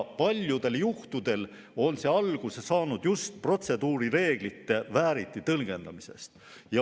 Paljudel juhtudel on see alguse saanud just protseduurireeglite vääriti tõlgendamisest.